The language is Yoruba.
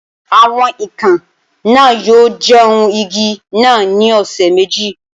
Awọn ikàn naa yoo jẹun igi naa ni ọsẹ meji